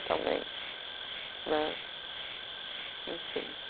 também né. Enfim.